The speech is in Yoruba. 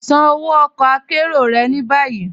Ṣàn ọwọ ọ̀kọ àkéró rẹ̀ ni bayi.